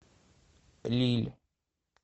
лилль